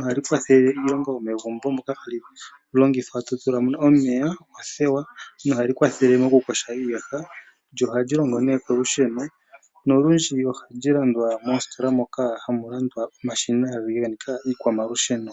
Ohali kwathele iilonga yo megumbo moka hali longithwa to tula mo omeya, othewa no hali kwathele moku koha iiyaha. Lyo ohali longo nee kolusheno, nolundji ohali landwa moositola moka hamu landwa omashina nenge nditye iikwamalusheno.